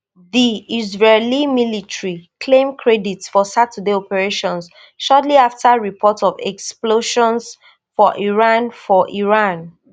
di israeli military claim credit for saturday operation shortly afta report of explosions for iran for iran